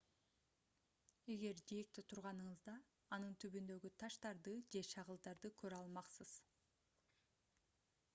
эгер жээкте турганыңызда анын түбүндөгү таштарды же шагылда көрө алмаксыз